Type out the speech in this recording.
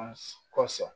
Kosɔn